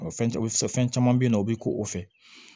Fɛn caman fɛn caman bɛ yen nɔ o bɛ ko o fɛ